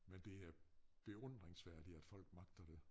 Men det er beundringsværdigt at folk magter det